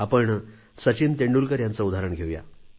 आपण सचिन तेंडुलकर यांचेच उदाहरण घेऊ या